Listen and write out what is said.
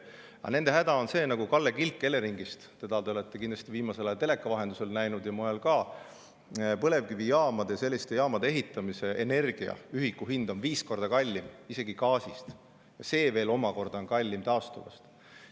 Aga nende häda on see – nagu Kalle Kilk Eleringist, teda te olete viimasel ajal kindlasti näinud teleka vahendusel ja mujal ka –, et selliste põlevkivijaamade ehitamise ja energiaühiku hind on viis korda kallim isegi gaasist, mis on veel omakorda kallim taastuvast.